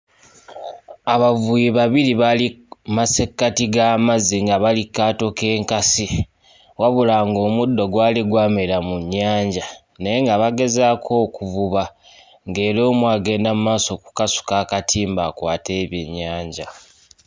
Abavubi babiri baali mu massekati g'amazzi nga bali kaato k'enkasi wabula ng'omuddo gwali gwamera mu nnyanja naye nga bagezaako okuvuba nga era omu agenda mu maaso okukasuka akatimba akwate ebyennyanja.